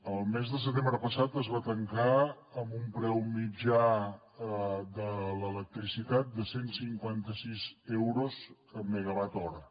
el mes de setembre passat es va tancar amb un preu mitjà de l’electricitat de cent i cinquanta sis euros megawatt hora